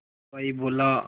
हलवाई बोला